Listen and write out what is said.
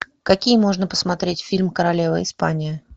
какие можно посмотреть фильм королева испания